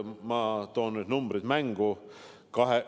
Ma toon numbrid mängu.